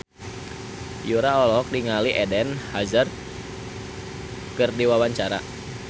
Yura olohok ningali Eden Hazard keur diwawancara